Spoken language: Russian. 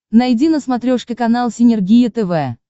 найди на смотрешке канал синергия тв